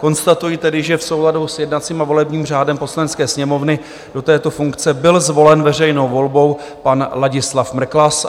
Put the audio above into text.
Konstatuji tedy, že v souladu s jednacím a volebním řádem Poslanecké sněmovny do této funkce byl zvolen veřejnou volbou pan Ladislav Mrklas.